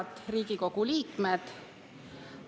Head Riigikogu liikmed!